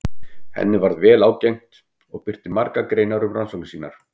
Henni varð vel ágengt og birti margar greinar um rannsóknir sínar.